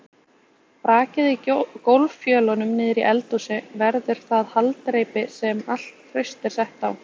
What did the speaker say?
Brakið í gólffjölunum niðri í eldhúsi verður það haldreipi sem allt traust er sett á.